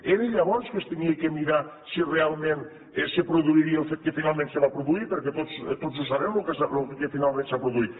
era llavors que s’havia de mirar si realment se produiria el fet que finalment se va produir perquè tots ho sabem lo que finalment s’ha produït